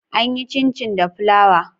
An yi Cincin da flawa.